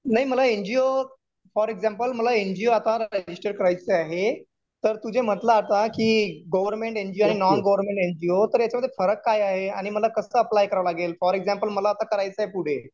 नाही मला NGO for example, मला एनजीओ आता रजिस्टर करायचं आहे. तर तु जे म्हटला आता कि गव्हर्मेंट एनजीओ आणि नॉन गव्हर्मेंट एनजीओ. तर याच्यामध्ये फरक काय आहे? आणि मला कसं अप्लाय करावं लागेल? फॉर एक्झाम्पल मला आता करायचंय पुढे